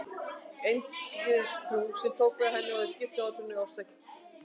Eingyðistrúin, sem tók við af henni, hefði skipt út hjátrúnni fyrir ofstækið.